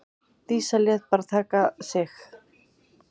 Dísa lét bara taka sig.